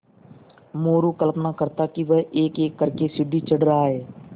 मोरू कल्पना करता कि वह एकएक कर के सीढ़ी चढ़ रहा है